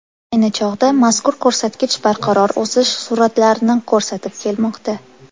Ayni chog‘da mazkur ko‘rsatkich barqaror o‘sish sur’atlarini ko‘rsatib kelmoqda.